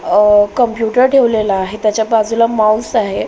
अ computer ठेवलेला आहे त्याच्या बाजूला माऊस आहे.